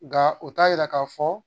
Nga u t'a yira k'a fɔ